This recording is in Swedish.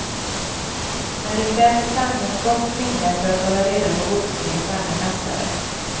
Men det krävs i sanning gott minne för att hålla reda på boxningens alla mästare.